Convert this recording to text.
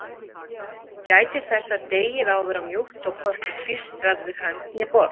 Gætið þess að deigið á að vera mjúkt og hvorki klístrast við hönd né borð.